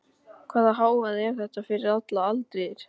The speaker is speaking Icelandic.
Hvaða hávaði er þetta fyrir allar aldir?